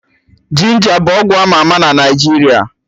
Ginja bụ ọgwụ ama ama na Naijiria